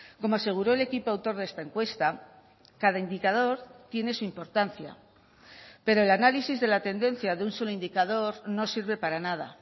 como aseguro el equipo autor de esta encuesta cada indicador tiene su importancia pero el análisis de la tendencia de un solo indicador no sirve para nada